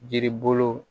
Yiri bolo